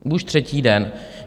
Už třetí den!